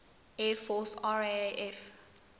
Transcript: air force raaf